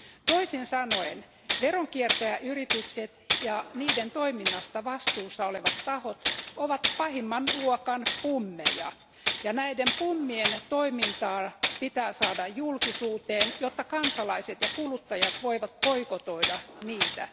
Toisin sanoen veronkiertäjäyritykset ja niiden toiminnasta vastuussa olevat tahot ovat pahimman luokan pummeja, ja näiden pummien toiminta pitää saada julkisuuteen, jotta kansalaiset ja kuluttajat voivat boikotoida niitä.